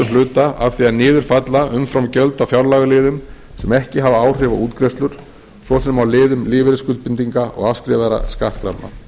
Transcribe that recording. hluta af því að niður falla umframgjöld á fjárlagaliðum sem ekki hafa áhrif á útgreiðslur svo sem á liðum lífeyrisskuldbindinga og afskrifaðra skattkrafna